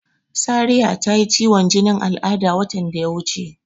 Sariya ta yi ciwon jinin al'ada watan da ya wuce.